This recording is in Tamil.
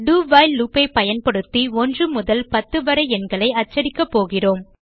do வைல் loop ஐ பயன்படுத்தி 1 முதல் 10 வரை எண்களை அச்சிடப்போகிறோம்